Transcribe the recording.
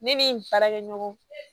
Ne ni n baarakɛɲɔgɔn